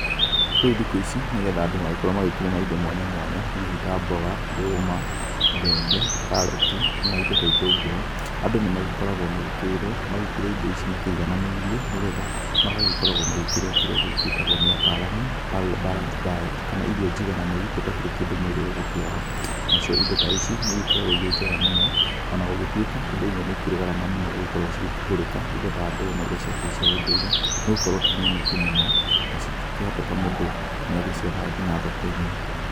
Rĩu thiku ici, nĩ getha andũ magĩkorwo magĩkĩrĩma indo mwanya mwanya, ta mboga ndũma, mbembe, karati na indo ta itũngũrũ. Andũ nĩ magĩkoragwo magĩkĩĩrwo magĩkĩrĩe indo ici makĩigananĩirie, nĩ getha magagĩkoragwo magĩkĩrĩa kĩrĩa gĩĩtagwo nĩ ataramu, balanced diet, kana irio jigananĩru gũtakĩrĩ kĩndũ mwĩrĩ ũgũkĩaga. Na cio indo ta ici nĩ igĩkoragwo irĩ njega mũno, ona gũgĩtuĩka indo imwe nĩ ikĩrĩ garama mũno gũgĩkorwo cigĩkĩgũrĩka, indo ta ndũma iria cia kĩrĩ cia ũndũire, nĩ gũkorwo ti nyoneki mũno na cingĩkĩhoteka mũndũ nĩ agĩciagaga nginya thoko-inĩ.